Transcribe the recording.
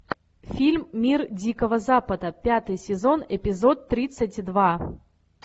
фильм мир дикого запада пятый сезон эпизод тридцать два